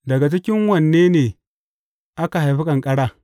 Daga cikin wane ne aka haifi ƙanƙara?